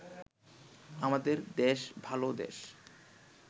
আমাদের দেশ-ভাল দেশ